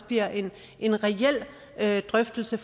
bliver en en reel drøftelse